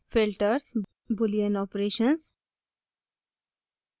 filters boolean operations